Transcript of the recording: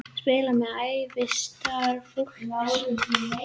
Spilað með ævistarf fólks